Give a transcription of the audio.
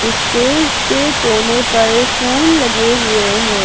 Stage के कोने पर फूल लगे हुए हैं।